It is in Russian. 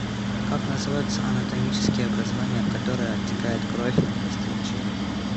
как называются анатомические образования в которые оттекает кровь от костей черепа